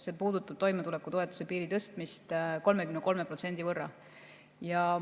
See puudutab toimetulekupiiri tõstmist 33% võrra.